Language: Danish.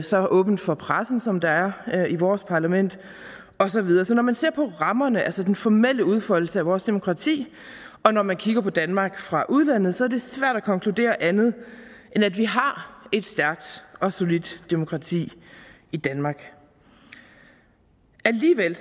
så åbent for pressen som der er i vores parlament og så videre så når man ser på rammerne altså den formelle udfoldelse af vores demokrati og når man kigger på danmark fra udlandet så er det svært at konkludere andet end at vi har et stærkt og solidt demokrati i danmark alligevel